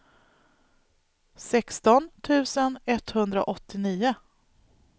sexton tusen etthundraåttionio